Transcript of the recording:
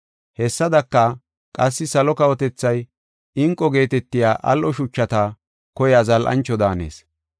“Hessadaka, qassi salo kawotethay inqu geetetiya al7o shuchata koyiya zal7ancho daanees.